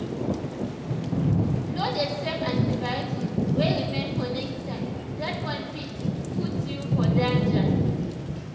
no dey save antibiotics wey remain for next time that one fit put you for danger.